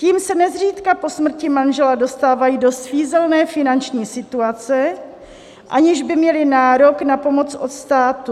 Tím se nezřídka po smrti manžela dostávají do svízelné finanční situace, aniž by měli nárok na pomoc od státu.